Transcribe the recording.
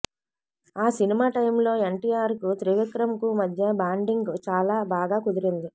ఆ cinema time లో ఎన్టీఆర్ కు త్రివిక్రమ్ కు మధ్య బాండింగ్ చాలా బాగా కుదిరింది